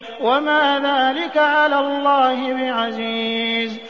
وَمَا ذَٰلِكَ عَلَى اللَّهِ بِعَزِيزٍ